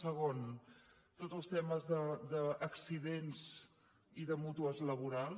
segon tots els temes d’accidents i de mútues laborals